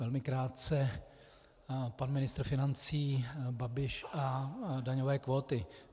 Velmi krátce - pan ministr financí Babiš a daňové kvóty.